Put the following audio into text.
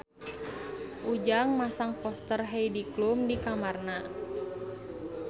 Ujang masang poster Heidi Klum di kamarna